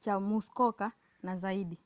cha muskoka na zaidi